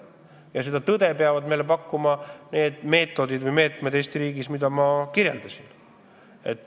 Ja selle tõe peab Eesti riigis välja selgitama nende meetodite abil, mida ma kirjeldasin.